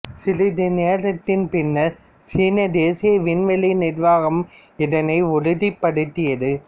சிறிது நேரத்தின் பின்னர் சீன தேசிய விண்வெளி நிர்வாகம் இதனை உறுதிப்படுத்தியது